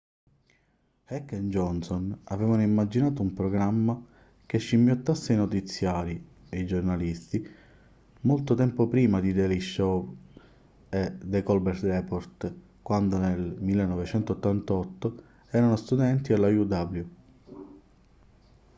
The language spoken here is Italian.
heck e johnson avevano immaginato un programma che scimmiottasse i notiziari e i giornalisti molto tempo prima di the daily show e the colbert report quando nel 1988 erano studenti alla uw